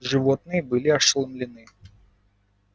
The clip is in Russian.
животные были ошеломлены